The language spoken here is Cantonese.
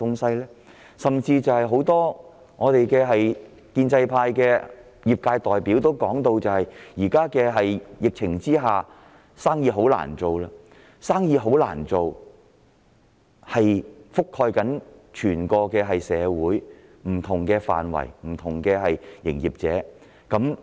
甚至很多建制派的業界代表也表示，在疫情下市道很差，生意難做，這情況已覆蓋整體社會不同範疇、不同經營者。